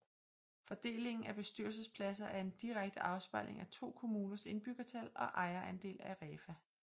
Fordelingen af bestyrelsespladser er en direkte afspejling af to kommuners indbyggertal og ejerandel af REFA